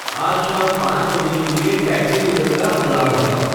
आज शाम पाँच बजे के लिए टैक्सी लेबल का अलार्म लगाओ